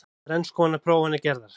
Þrenns konar prófanir gerðar